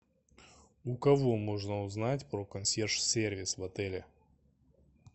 у кого можно узнать про консьерж сервис в отеле